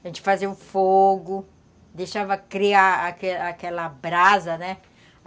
A gente fazia o fogo, deixava criar aquela aquela brasa, né?